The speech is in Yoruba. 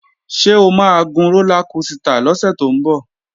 Ṣé o máa gun rólá kosità lọ́sẹ̀ tó ń bọ̀?